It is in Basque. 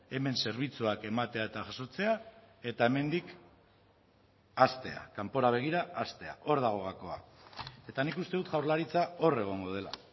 hemen zerbitzuak ematea eta jasotzea eta hemendik haztea kanpora begira haztea hor dago gakoa eta nik uste dut jaurlaritza hor egongo dela